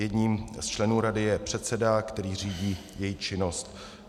Jedním z členů rady je předseda, který řídí její činnost.